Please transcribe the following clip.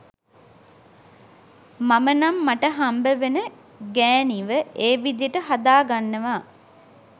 මම නම් මට හමබ් වෙන ගෑනීව ඒ විදියට හදාගන්නවා